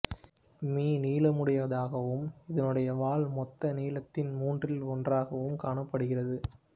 மி நீளமுடையதாகவும் இதனுடைய வால் மொத்த நீளத்தில் மூன்றில் ஒன்றாகவும் காணப்படுகிறது